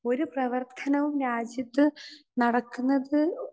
speaker 2 ഒരു പ്രവർത്തനവും രാജ്യത്ത് നടക്കുന്നത്